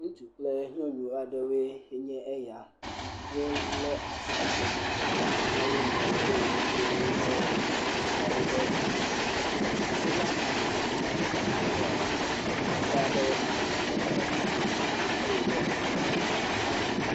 Ŋutsu kplenuɔnu aɖewoe enye eya, wolé asi eye wodo woƒe asiawo ɖe dzi. Sola panel le nɔnɔmetata ya me, ekpe aɖewo hã wole fi ma eye wole gbe me.